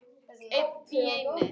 Einn í einu.